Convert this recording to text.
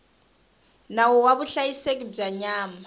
nawu wa vuhlayiseki bya nyama